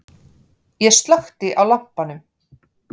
Ég slökkti á lampanum.